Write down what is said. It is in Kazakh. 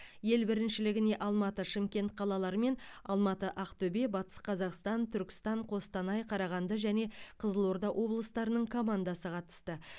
ел біріншілігіне алматы шымкент қалалары мен алматы ақтөбе батыс қазақстан түркістан қостанай қарағанды және қызылорда облыстарының командасы қатысты